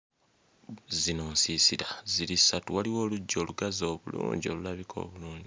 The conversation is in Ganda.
Zino nsiisira ziri ssatu waliwo oluggya olugazi obulungi olulabika obulungi.